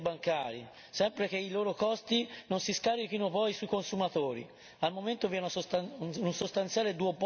Sono inoltre favorevole alla riduzione delle commissioni interbancarie, sempre che i loro costi non si scarichino poi sui consumatori.